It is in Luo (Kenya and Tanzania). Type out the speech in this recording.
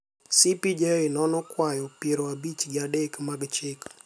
CPJ nonono kwayo piero abich gi adek mag chik